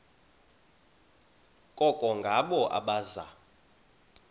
koko ngabo abaza